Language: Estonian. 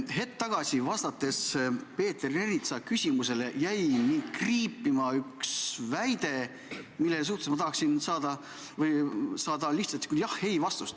Hetk tagasi, kui sa vastasid Peeter Ernitsa küsimusele, jäi mul kõrva kriipima üks väide, mille suhtes ma tahaksin saada lihtsalt vastust jah või ei.